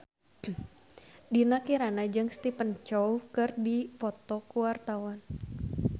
Dinda Kirana jeung Stephen Chow keur dipoto ku wartawan